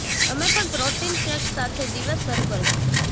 તમે પણ protein shake સાથે દિવસ શરૂ કરી શકો છો